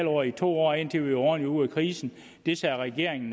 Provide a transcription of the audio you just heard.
år i to år indtil vi er ordentlig ude af krisen det sagde regeringen